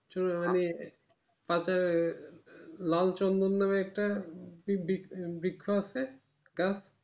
চলুন মানে পাশে লালচন্দন নাম একটা কি বৃক্ষ আছে গাছ